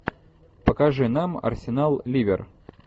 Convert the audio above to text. покажи нам арсенал ливер